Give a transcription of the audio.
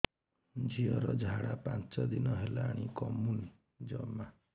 ଝିଅର ଝାଡା ପାଞ୍ଚ ଦିନ ହେଲାଣି କମୁନି ଜମା